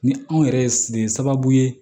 Ni anw yɛrɛ ye sababu ye